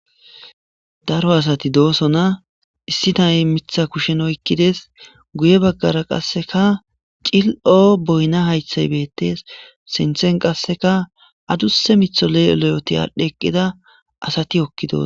Daro asati dossona issi nay miththa kushshen oykkides guye baggara qase cillo boyina hayiththey bettes sinththen qasekka adusa miththa le'o le'oti adhi eqidda asati hokida